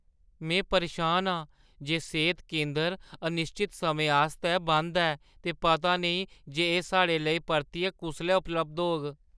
में परेशान आं जे सेह्‌त केंदर अनिश्चत समें आस्तै बंद ऐ ते पता नेईं जे एह् साढ़े लेई परतियै कुसलै उपलब्ध होग।